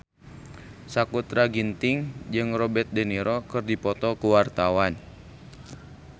Sakutra Ginting jeung Robert de Niro keur dipoto ku wartawan